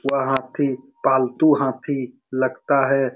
वह हाथी पालतू हाथी लगता है।